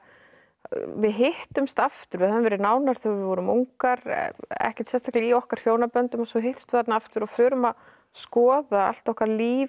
við hittumst aftur við höfðum verið nánar þegar við vorum ungar ekkert sérstaklega í okkar hjónaböndum svo hittumst við þarna aftur og förum að skoða allt okkar líf